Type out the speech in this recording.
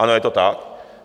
Ano, je to tak!